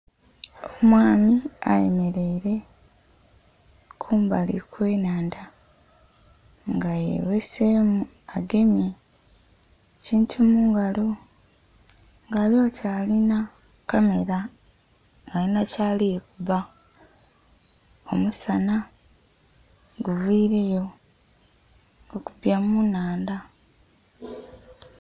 Omwami ayemeleire kumbali kw'ennhandha, nga yeghesemu agemye ekintu mu ngalo nga ali oti alinha kamela alinha kyali kuba, omusana guviireyo gukubye mu nnhandha.